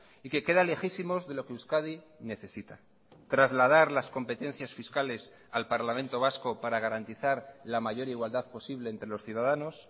y que queda lejísimos de lo que euskadi necesita trasladar las competencias fiscales al parlamento vasco para garantizar la mayor igualdad posible entre los ciudadanos